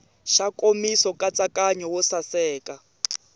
xa nkomiso nkatsakanyo wo saseka